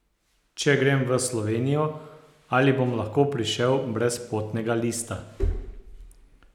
Če grem v Slovenijo, ali bom lahko prišel brez potnega lista?